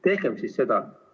Tehkem siis seda.